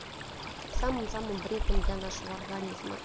самым самым вредным для нашего организма